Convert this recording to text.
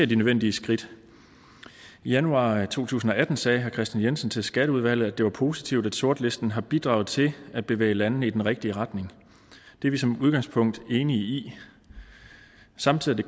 de nødvendige skridt i januar to tusind og atten sagde herre kristian jensen til skatteudvalget at det var positivt at sortlisten har bidraget til at bevæge landene i den rigtige retning det er vi som udgangspunkt enige i samtidig